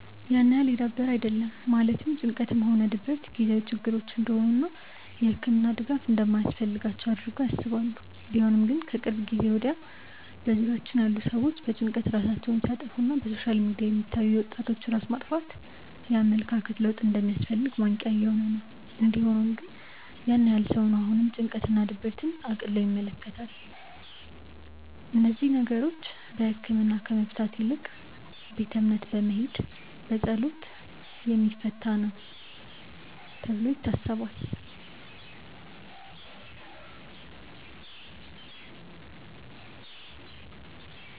ያን ያህል የዳበረ አይደለም ማለትም ጭንቀትም ሆነ ድብረት የጊዜያዊ ችግሮች እንደሆኑ እና የህክምና ድጋፍ እንደማያስፈልጋቸው አድርገው ያስባሉ። ቢሆንም ግን ከቅርብ ጊዜ ወድያ በዙሪያችን ያሉ ሰዎች በጭንቀት ራሳቸውን ሲያጠፋ እና በሶሻል ሚዲያ የሚታዩ የወጣቶች ራስ ማጥፋት የኣመለካከት ለውጥ እንደሚያስፈልግ ማንቅያ እየሆነ ነው። እንዲ ሆኖም ግን ያን ያህል ነው ሰው አሁንም ጭንቀት እና ድብርትን እቅሎ ይመለከታል። እነዚህን ነገሮች በህክምና ከመፍታት ይልቅ ቤተ እምነት በመሄድ በፀሎት የሚፈታ ነው ተብሎ ይታሰባል።